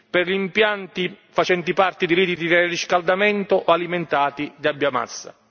per gli impianti facenti parte di reti di riscaldamento alimentati da biomassa.